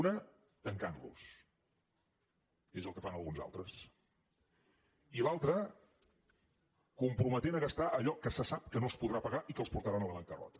una tancant los és el que fan alguns altres i l’altra comprometent a gastar allò que se sap que no es podrà pagar i que els portarà a la bancarrota